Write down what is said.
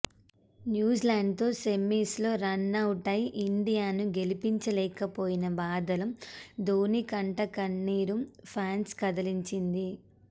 న్యూజిలాండ్తో సెమీస్లో రనౌటై ఇండియాను గెలిపించలేకపోయిన బాధలో ధోనీ కంట కన్నీరు ఫ్యాన్స్ను కదిలించింది